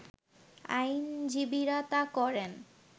আইনজীবীরা তা করেন